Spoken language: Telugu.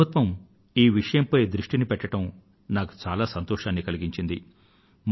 మన ప్రభుత్వం ఈ విషయంపై దృష్టిని పెట్టడం నాకు చాలా సంతోషాన్ని కలిగించింది